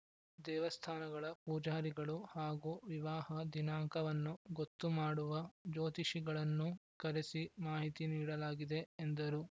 ದೇವಸ್ಥಾನಗಳ ಪೂಜಾರಿಗಳು ಹಾಗೂ ವಿವಾಹ ದಿನಾಂಕವನ್ನು ಗೊತ್ತು ಮಾಡುವ ಜ್ಯೋತಿಷಿಗಳನ್ನೂ ಕರೆಸಿ ಮಾಹಿತಿ ನೀಡಲಾಗಿದೆ ಎಂದರು